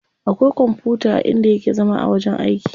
Akwai kwamfuta a inda yake zama a wajen aiki.